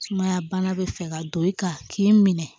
Sumaya bana bɛ fɛ ka don i kan k'i minɛ